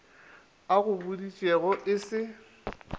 a go boditšego e se